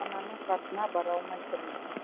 ананың қасына бара алмай тұрмыз